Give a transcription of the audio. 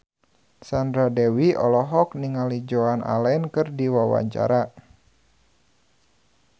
Sandra Dewi olohok ningali Joan Allen keur diwawancara